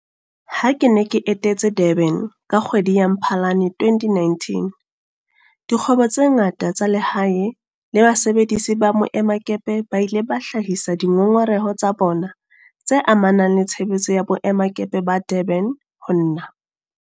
Ha ke ne ke etetse Durban ka kgwedi ya Mphalane 2019, dikgwebo tse ngata tsa lehae le basebedisi ba boemakepe ba ile ba hlahisa dingongoreho tsa bona tse amanang le tshebetso ya boemakepe ba Durban ho nna.